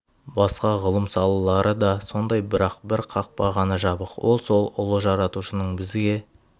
басқа ғылым салалары да сондай бірақ бір қақпа ғана жабық ол сол ұлы жаратушының бізге